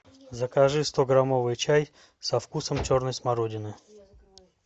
закажи стограммовый чай со вкусом черной смородины